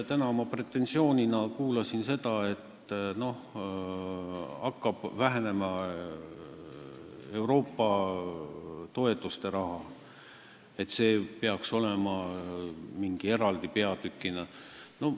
Täna ma kuulsin pretensiooni, et Euroopa toetuste raha hakkab vähenema ning selle kohta peaks olema eraldi peatükk.